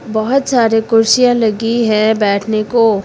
बहोत सारे कुर्सियां लगी हैं बैठने को--